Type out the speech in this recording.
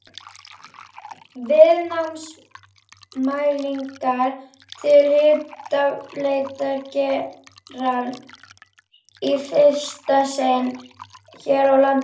Viðnámsmælingar til jarðhitaleitar gerðar í fyrsta sinn hér á landi.